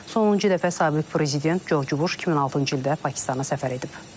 Sonuncu dəfə sabiq prezident Corc Buş 2006-cı ildə Pakistana səfər edib.